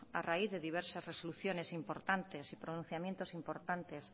a raíz de diversas resoluciones importantes y pronunciamientos importantes